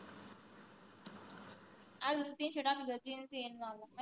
cinema ला मी